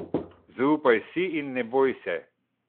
Zaupaj si in ne boj se.